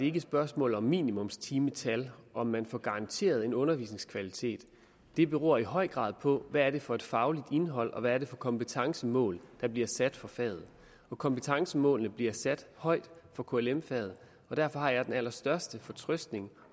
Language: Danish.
ikke et spørgsmål om minimumstimetal om man får garanteret en undervisningskvalitet det beror i høj grad på hvad det er for et fagligt indhold og hvad det er for kompetencemål der bliver sat for faget kompetencemålene bliver sat højt for klm faget og derfor har jeg den allerstørste fortrøstning